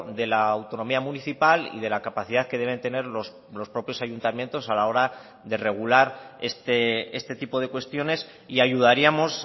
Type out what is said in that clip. de la autonomía municipal y de la capacidad que deben tener los propios ayuntamientos a la hora de regular este tipo de cuestiones y ayudaríamos